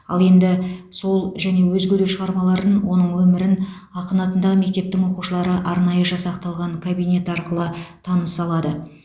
ал енді сол және өзге де шығармаларын оның өмірін ақын атындағы мектептің оқушылары арнайы жасақталған кабинет арқылы таныса алады